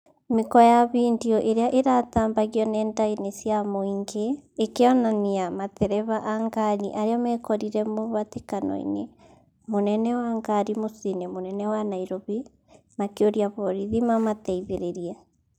Mĩkwa ya findio ĩrĩa ĩratambagio ng'enda-inĩ cia mũingĩ ikĩonania matereba a ngari arĩa mekorire mũhatĩkano-inĩ mũnene wa ngari muciĩ-inĩ mũnene wa Nairofi ,makĩruia borithi mamateithĩrĩrie